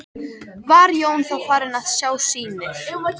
Var Jón þá farinn að sjá sýnir.